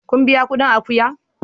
Kun biya kudin akuya?